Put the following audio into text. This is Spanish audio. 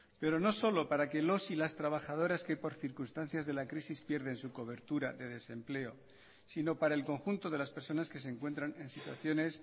pero no solo para que los y las trabajadoras que por circunstancias de la crisis pierden su cobertura de desempleo sino para el conjunto de las personas que se encuentran en situaciones